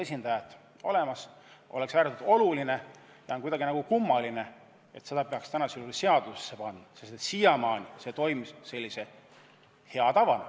See on praegu väga oluline ja on kummaline, et selle peaks nagu seadusesse panema – siiamaani toimis see lihtsalt hea tavana.